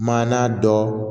Maana dɔ